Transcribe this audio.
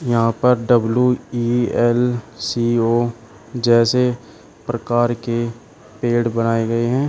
यहां पर W E L C O जैसे प्रकार के पेड़ बनाए गए है।